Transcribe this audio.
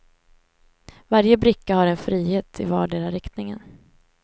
Varje bricka har en frihet i vardera riktningen.